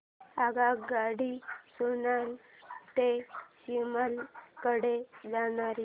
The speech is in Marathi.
आगगाडी सोलन ते शिमला कडे जाणारी